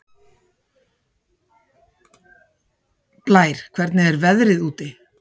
Blær, hvernig er veðrið úti?